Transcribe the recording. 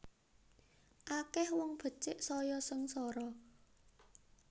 Akeh wong becik saya sengsara